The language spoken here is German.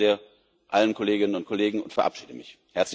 Ich danke allen Kolleginnen und Kollegen sehr und verabschiede mich.